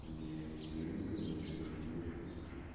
не телевизор ничего не включено